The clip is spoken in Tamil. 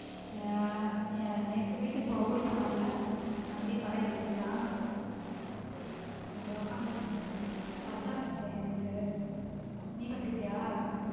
ஹம் நேத்து வீட்டு ஊருக்கு போனன்ல தம்பி படம் ஏத்தி விட்டான் அதை உக்காந்து சர்தார் பார்த்தேன் நேத்த நீபாத்துட்டிய?